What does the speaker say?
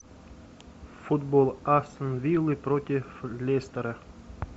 футбол астон виллы против лестера